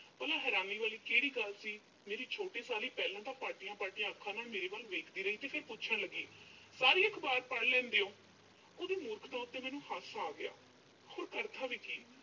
ਭਲਾਂ ਹੈਰਾਨੀ ਵਾਲੀ ਕਿਹੜੀ ਗੱਲ ਸੀ। ਮੇਰੀ ਛੋਟੀ ਸਾਲੀ ਪਹਿਲਾਂ ਤਾਂ ਪਾਟੀਆਂ-ਪਾਟੀਆਂ ਅੱਖਾਂ ਨਾਲ ਮੇੇਰੇ ਵੱਲ ਵੇਖਦੀ ਰਹੀ ਤੇ ਫਿਰ ਪੁੱਛਣ ਲੱਗੀ। ਸਾਰੇ ਅਖਬਾਰ ਪੜ੍ਹ ਲੈਂਦੇ ਹੋਂ। ਓਹਦੀ ਮੂਰਖਤਾ ਤੇ ਮੈਨੂੰ ਹਾਸਾ ਆ ਗਿਆ। ਹੋਰ ਕਰਦਾ ਵੀ ਕੀ।